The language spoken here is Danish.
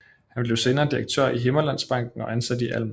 Han blev senere direktør i Himmerlandsbanken og ansat i Alm